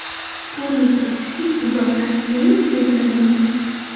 Ko‘rinib turibdiki, buzoqlar Siam egizaklari bo‘lgan.